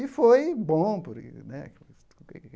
E foi bom porque né.